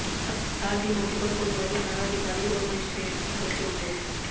साथ ही मौके पर कोतवाली थाना अधिकारी और मजिस्ट्रेट भी पहुंचे हुए हैं